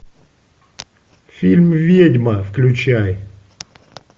фильм ведьма включай